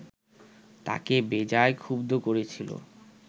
তাঁকে বেজায় ক্ষুব্ধ করেছিল